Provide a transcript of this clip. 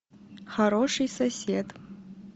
хороший сосед